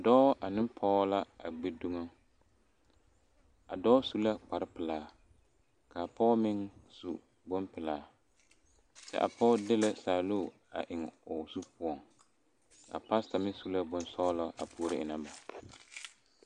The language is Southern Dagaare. Dɔɔ ane pɔge la a gbi dumo a dɔɔ su la kparepelaa ka a pɔge meŋ su bonpelaa kyɛ a pɔge de la saalu a eŋ o zu poɔŋ a pastor meŋ su la bonsɔglɔ a puoro eŋnɛ ba.